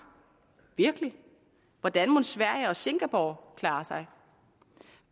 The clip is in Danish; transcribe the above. virkelig hvordan mon sverige og singapore klarer sig